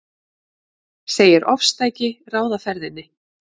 Segir ofstæki ráða ferðinni